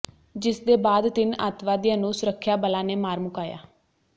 ਜਿਸਦੇ ਬਾਅਦ ਤਿੰਨ ਅੱਤਵਾਦੀਆਂ ਨੂੰ ਸੁਰੱਖਿਆਬਲਾਂ ਨੇ ਮਾਰ ਮੁਕਾਇਆ